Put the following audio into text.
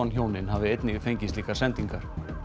hjónin hafi einnig fengið slíkar sendingar